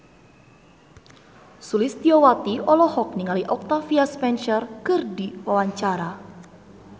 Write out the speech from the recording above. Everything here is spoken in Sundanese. Sulistyowati olohok ningali Octavia Spencer keur diwawancara